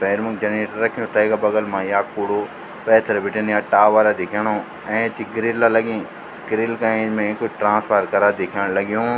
पैर मा जणेक रख्युं तैका बगल मा या कुडू पैथर बीटिंन या टावर दिखेणु ऐंच गिरिल लगीं गिरिल का ऐंच में कुछ ट्रान्सफर करा दिखेंण लग्युं।